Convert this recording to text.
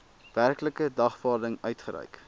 werklike dagvaarding uitgereik